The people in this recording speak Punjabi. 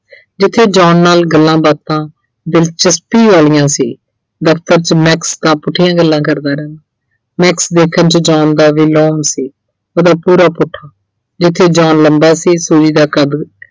ਜਿੱਥੇ John ਨਾਲ ਗੱਲਾਂ ਬਾਤਾਂ ਦਿਲਚਸਪੀ ਵਾਲੀਆਂ ਸੀ, ਦਫ਼ਤਰ 'ਚ Max ਤਾਂ ਪੁੱਠੀਆਂ ਗੱਲਾਂ ਕਰਦਾ ਰਹਿੰਦਾ। Max ਦੇਖਣ 'ਚ John ਦਾ ਸੀ। ਉਹਦਾ ਪੂਰਾ ਪੁੱਠਾ। ਜਿੱਥੇ John ਲੰਬਾ ਸੀ Suji ਦਾ ਕੱਦ